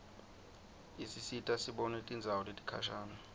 isisita sibone tindzawo letikhashane